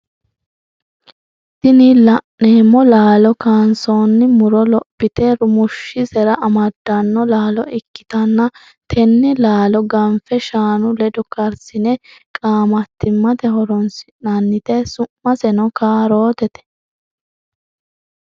Tini laneemo laalo kansoonni muro lophite rumushisera amadanno laalo ikkitanna tenne laalo ganfe shaanu ledo karsine qaamattimate horonsi'nannite su'miseno kaarootete.